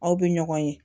Aw bɛ ɲɔgɔn ye